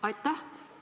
Aitäh!